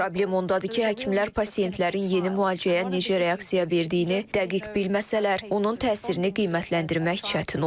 Problem ondadır ki, həkimlər pasientlərin yeni müalicəyə necə reaksiya verdiyini dəqiq bilməsələr, onun təsirini qiymətləndirmək çətin olur.